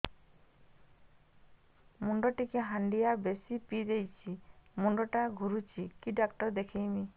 ମୁଇ ଟିକେ ହାଣ୍ଡିଆ ବେଶି ପିଇ ଦେଇଛି ମୁଣ୍ଡ ଟା ଘୁରୁଚି କି ଡାକ୍ତର ଦେଖେଇମି